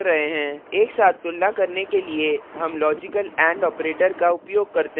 एक साथ तुलना करने के लिए हम logical and operator का उपयोग करते हैं